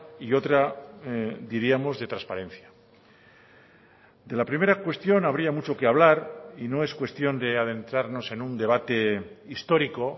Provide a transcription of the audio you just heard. y otra diríamos de transparencia de la primera cuestión habría mucho que hablar y no es cuestión de adentrarnos en un debate histórico